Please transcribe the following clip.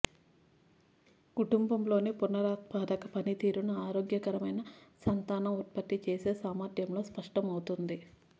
కుటుంబంలోని పునరుత్పాదక పనితీరును ఆరోగ్యకరమైన సంతానం ఉత్పత్తి చేసే సామర్థ్యంలో స్పష్టమవుతుంది